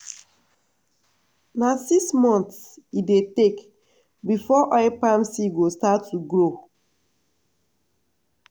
na six months e dey take before oil palm seed go start to grow.